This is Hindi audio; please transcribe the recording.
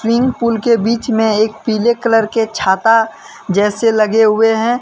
स्विमिंग पूल के बीच में एक पीले कलर के छाता जैसे लगे हुए हैं।